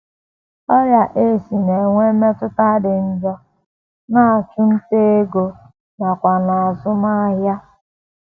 Ọrịa AIDS na - enwe mmetụta dị njọ n’achụmnta ego nakwa n’azụmahịa.